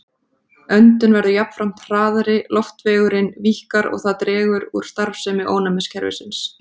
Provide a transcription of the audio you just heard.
Öndun verður jafnframt hraðari, loftvegurinn víkkar og það dregur úr starfsemi ónæmiskerfisins.